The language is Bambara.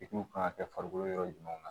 kan ka kɛ farikolo yɔrɔ jumɛnw na